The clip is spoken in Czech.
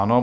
Ano.